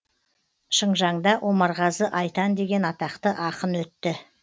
шыңжаңда омарғазы айтан деген атақты ақын өтті